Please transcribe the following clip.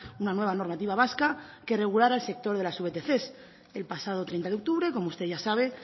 una nueva normativa vasca que regulara el sector de las vtc el pasado treinta de octubre como usted ya sabe